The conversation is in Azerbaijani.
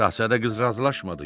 Şahzadə qız razılaşmadı.